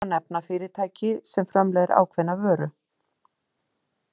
Sem dæmi má nefna fyrirtæki sem framleiðir ákveðna vöru.